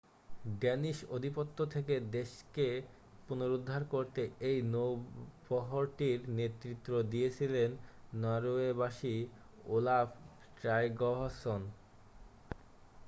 Danish আধিপত্য থেকে দেশকে পুনরুদ্ধার করতে এই নৌবহরটির নেতৃত্ব দিয়েছিলেন নরওয়েবাসী ওলাফ ট্রাইগভাসন